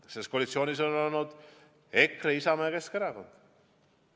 Selles koalitsioonis olnud EKRE, Isamaa ja Keskerakond.